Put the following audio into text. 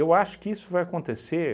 acho que isso vai acontecer